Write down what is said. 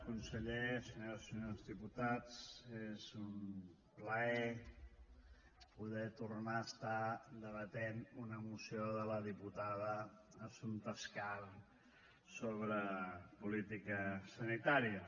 conseller senyores i senyors diputats és un plaer poder tornar a estar debatent una moció de la diputada assumpta escarp sobre política sanitària